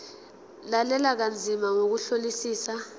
lalela kanzima ngokuhlolisisa